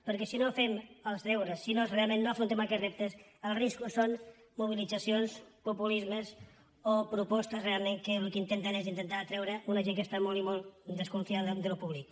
perquè si no fem els deures si realment no afrontem aquests reptes els riscos són mobilitzacions populismes o propostes realment que el que intenten és atreure una gent que està molt i molt desconfiada d’allò públic